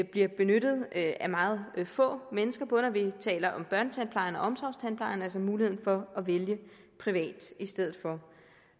bliver benyttet af meget få mennesker både når vi taler om børnetandplejen og omsorgstandplejen altså muligheden for at vælge en privat i stedet for